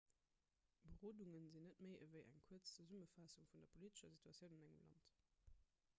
berodunge sinn net méi ewéi eng kuerz zesummefaassung vun der politescher situatioun an engem land